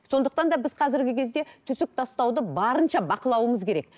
сондықтан да біз қазіргі кезде түсік тастауды барынша бақылауымыз керек